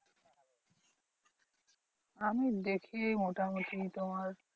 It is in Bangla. আমি দেখি মোটামুটি তোমার